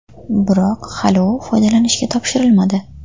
Biroq hali u foydalanishga topshirilmadi.